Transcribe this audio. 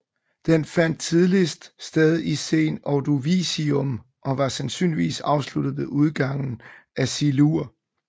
Den fandt tidligst sted i Sen Ordovicium og var sandsynligvis afsluttet ved udgangen af Silur